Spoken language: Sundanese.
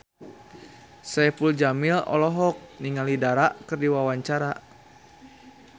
Saipul Jamil olohok ningali Dara keur diwawancara